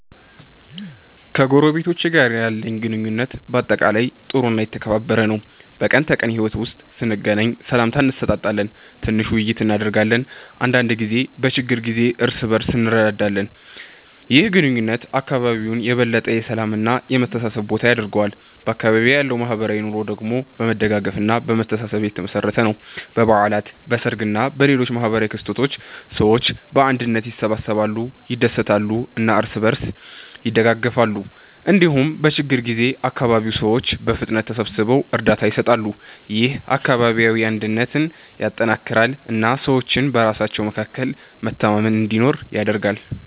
ከጎረቤቶቼ ጋር ያለኝ ግንኙነት በአጠቃላይ ጥሩ እና የተከባበረ ነው። በቀን ተቀን ሕይወት ውስጥ ስንገናኝ ሰላምታ እንሰጣጣለን፣ ትንሽ ውይይት እናደርጋለን እና አንዳንድ ጊዜ በችግር ጊዜ እርስ በእርስ እንረዳዳለን። ይህ ግንኙነት አካባቢውን የበለጠ የሰላም እና የመተሳሰብ ቦታ ያደርገዋል። በአካባቢዬ ያለው ማህበራዊ ኑሮ ደግሞ በመደጋገፍ እና በመተሳሰብ የተመሠረተ ነው። በበዓላት፣ በሰርግ እና በሌሎች ማህበራዊ ክስተቶች ሰዎች በአንድነት ይሰበሰባሉ፣ ይደሰታሉ እና እርስ በእርስ ይደጋገፋሉ። እንዲሁም በችግኝ ጊዜ አካባቢው ሰዎች በፍጥነት ተሰብስበው እርዳታ ይሰጣሉ። ይህ አካባቢያዊ አንድነትን ያጠናክራል እና ሰዎች በራሳቸው መካከል መተማመን እንዲኖር ያደርጋል።